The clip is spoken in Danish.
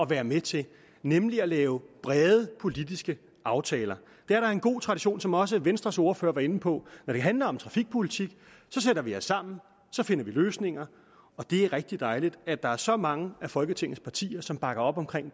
være med til nemlig at lave brede politiske aftaler det er der en god tradition for som også venstres ordfører var inde på når det handler om trafikpolitik så sætter vi os sammen så finder vi løsninger og det er rigtig dejligt at der er så mange af folketingets partier som bakker op om